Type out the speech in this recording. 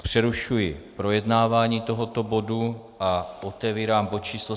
Přerušuji projednávání tohoto bodu a otevírám bod číslo